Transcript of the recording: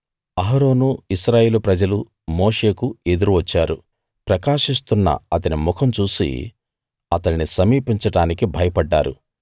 అహరోను ఇశ్రాయేలు ప్రజలు మోషేకు ఎదురు వచ్చారు ప్రకాశిస్తున్న అతని ముఖం చూసి అతణ్ణి సమీపించడానికి భయపడ్డారు